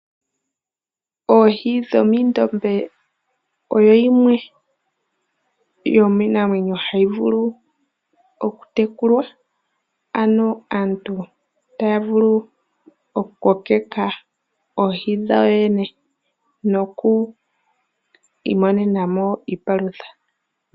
Oohi dhomoondombe odho dhimwe dhomiinamwenyo hayi vulu okutekulwa, ano aantu taya vulu okukokeka oohi dhawo yoyene noku imonena mo iipalutha.